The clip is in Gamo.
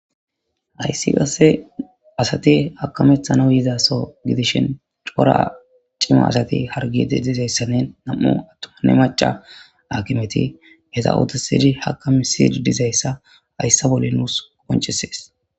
ayssi qasse asati hakamethana yizaso gidishin cora cima asati hargi dizayssanne nam7u attuma ne maca akimeti heza ootesidi haka misidi dizayssa hayssa bole nuus qoponcesees